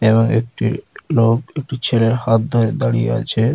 এবং একটি লোক একটি ছেলের হাত ধরে দাঁড়িয়ে আছে।